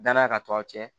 Dannya ka to a cɛ